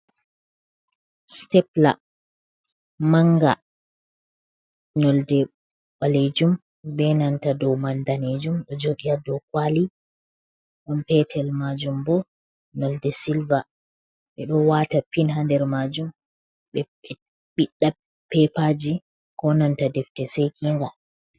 "Sitepilar manga" nyolde balejum benanta ɗow man danejum ɗo jodi ha ɗow kwali on petel majum bo nyolde silver ɓe ɗo wata pin ha nder majum ɓe ɓiɗɗa pepaji ko nanta defte sekinga.